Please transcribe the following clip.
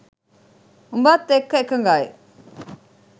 උඹත් එක්ක එකඟයි.